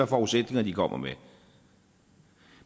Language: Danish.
forudsætninger de kommer med